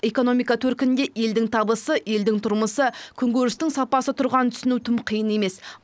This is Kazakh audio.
экономика төркінінде елдің табысы елдің тұрмысы күнкөрістің сапасы тұрғанын түсіну тым қиын емес